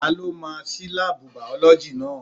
Ta ló máa ṣí láàbù bìọ̀lọ́gì náà?